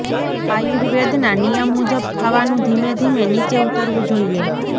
આયુર્વેદ ના નિયમ મુજબ ખાવાનું ધીમે ધીમે નીચે ઉતરવું જોઈએ